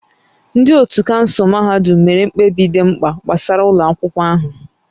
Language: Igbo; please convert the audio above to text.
Ndị otu kansụl mahadum mere mkpebi dị mkpa gbasara ụlọ akwụkwọ ahụ